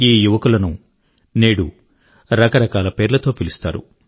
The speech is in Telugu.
ఈ యువకుల ను నేడు రకరకాల పేర్లతో పిలుస్తారు